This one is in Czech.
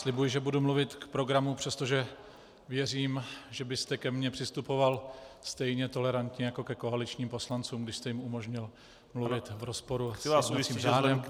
Slibuji, že budu mluvit k programu, přestože věřím, že byste ke mně přistupoval stejně tolerantně jako ke koaličním poslancům, když jste jim umožnil mluvit v rozporu s jednacím řádem.